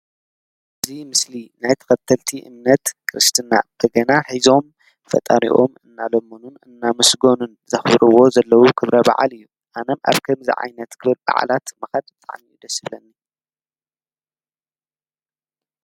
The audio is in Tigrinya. እዚ ምስሊ ናይ ተከተልቲ እምነት ክርስትና በገና ሒዞም ፈጣሪኦም እናለመኑን እናመስገኑን ዘክብርዎ ዘለዉ ክብረ በዓል እዩ። ኣነ ኣብ ከምዚ ዓይነት ክብረ በዓላት ምካድ ብጣዕሚ እዩ ደስ ይብለኒ።